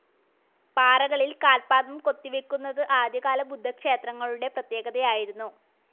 പാറകളിൽ കാൽപാദം കൊത്തി വെക്കുന്നത് ആദ്യ കാല ബുദ്ധക്ഷേത്രങ്ങളുടെ പ്രത്യേകതയായിരുന്നു.